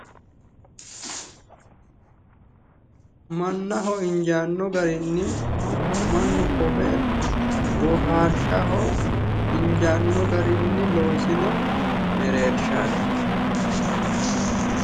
Mannaho injaaanno garinni mannu kofe boohaarshaho injaanno garinni loosino mereershaati.